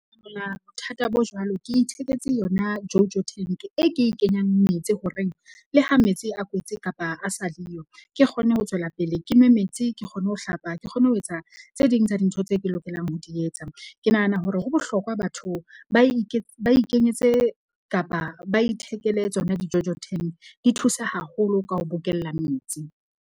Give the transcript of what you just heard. Nna bothata bo jwalo, ke itheketse yona JoJo tank e ke e kenyang metsi horeng le ha metsi a kwetse kapa a sa le yo. Ke kgone ho tswela pele ke nwe metsi, ke kgone ho hlapa ke kgone ho etsa tse ding tsa dintho tse ke lokelang ho di etsa. Ke nahana hore ho bohlokwa batho ba ba ikenyetse kapa ba ithekele tsona di-JoJo tank di thusa haholo ka ho bokella metsi.